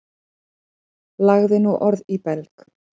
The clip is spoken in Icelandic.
Lagði nú orð í belg.